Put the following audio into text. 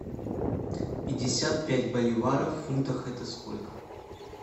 пятьдесят пять боливаров в фунтах это сколько